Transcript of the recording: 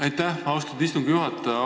Aitäh, austatud istungi juhataja!